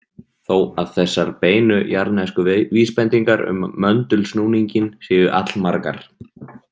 Þó að þessar beinu jarðnesku vísbendingar um möndulsnúninginn séu allmargar.